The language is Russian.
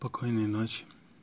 покойной ночи